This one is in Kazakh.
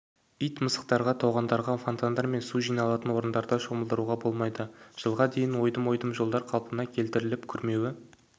ит-мысықтарды тоғандарда фонтандар мен су жиналатын орындарда шомылдыруға болмайды жылға дейін ойдым-ойдым жолдар қалпына келтіріліп күрмеуі